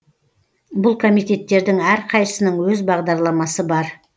бұл комитеттердің әрқайсысының өз бағдарламасы бар